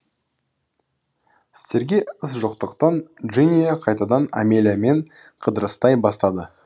істерге іс жоқтықтан джиния қайтадан амелиямен қыдырыстай бастады